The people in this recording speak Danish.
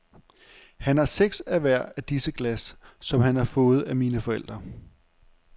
Han har seks af hver af disse glas, som han har fået af mine forældre.